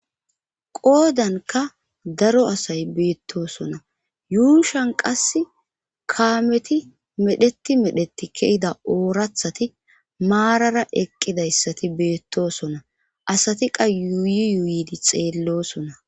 qoodanka daro asay beettoosona yuushan qas kaameti medheti medheti kehida oorathati maarara eqqidayssati beettosona asati qa yuuyi yuuydi xeellosona